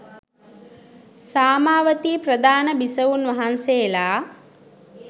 සාමාවතී ප්‍රධාන බිසවුන් වහන්සේලා